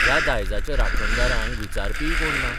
ह्या दायजाच्या राखणदारांक विचारपीय कोण ना.